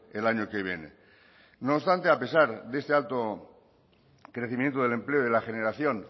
el año que viene no obstante a pesar de este alto crecimiento del empleo y de la generación